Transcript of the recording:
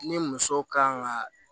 Ni muso kan ka